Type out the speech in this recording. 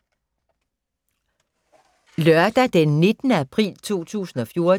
Lørdag d. 19. april 2014